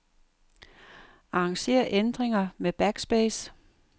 Arranger ændringer med backspace.